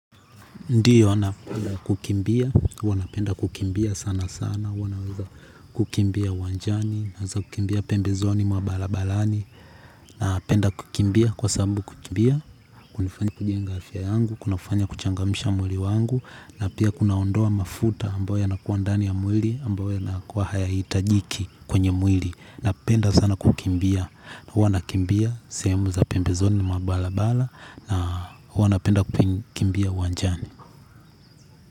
Ndiyo, napenda kukimbia, huwana penda kukimbia sana sana, wanaweza kukimbia uwanjani, naweza kukimbia pembe zoni mwa balabalani, na penda kukimbia kwa sambu kukimbia, kunafanya kujenga afya yangu, kunafanya kuchangamsha mwili wangu, na pia kunaondoa mafuta ambayo ya nakuwandani ya mwili, ambayo ya nakuwa haya itajiki kwenye mwili, na penda sana kukimbia, na huwana kukimbia, sehemu za pembe zoni mwabalabala, na huwana penda kukimbia uwanjani.